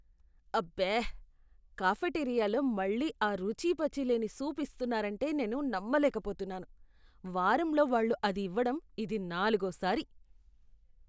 అబ్బే, కాఫెటేరియాలో మళ్ళీ ఆ రుచిపచి లేని సూప్ ఇస్తున్నారంటే నేను నమ్మలేకపోతున్నాను. వారంలో వాళ్ళు అది ఇవ్వడం ఇది నాలుగోసారి.